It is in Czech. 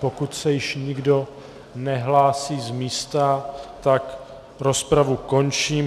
Pokud se již nikdo nehlásí z místa, tak rozpravu končím.